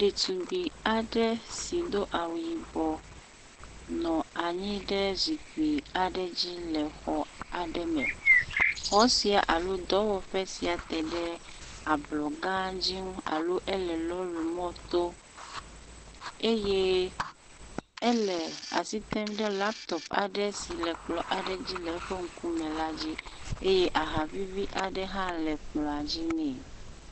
Ɖetugbi aɖe si do awu yibɔ nɔ anyi ɖe zikpui aɖe dzi le xɔ aɖe me. Xɔ sia alo dɔwɔƒe sia te ɖe ablɔ gã dzi nu aloe le lɔɖimɔto eye ele asi rem ɖe laptɔp aɖe si le kplɔ aɖe dzi le eƒe ŋkume la dzi.